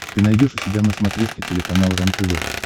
ты найдешь у себя на смотрешке телеканал рентв